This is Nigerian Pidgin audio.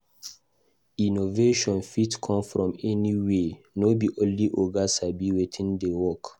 Innovation fit come from anywhere; no be only oga sabi wetin dey work.